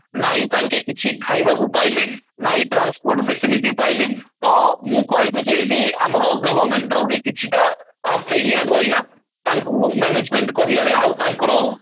ନାଇଁ ତାଙ୍କେ କିଛି ଖାଇବାକୁ ପାଇଲେ ନାଇଁ transport facilities ପାଇଲେ ତ ମୁଁ କହିବି ଯେ ଏଇଠି ଆମର government ର ବି କିଛି ଟା ତାଙ୍କୁ management କରିବାରେ ଆଉ ତାଙ୍କର